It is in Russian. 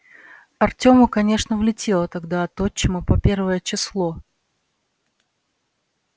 артёму конечно влетело тогда от отчима по первое число